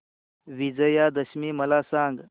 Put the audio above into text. विजयादशमी मला सांग